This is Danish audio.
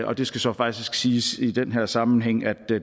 og det skal så faktisk siges i den her sammenhæng at